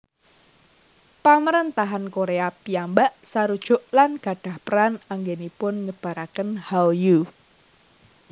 Pamarentahan Korea piyambak sarujuk lan gadhah peran anggènipun nyebaraken Hallyu